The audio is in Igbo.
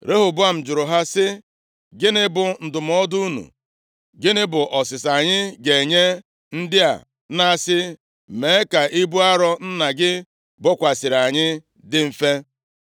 Rehoboam jụrụ ha sị, “Gịnị bụ ndụmọdụ unu? Gịnị bụ ọsịsa anyị ga-enye ndị a na-asị, ‘Mee ka ibu arọ nna gị bokwasịrị anyị dị mfe’? ”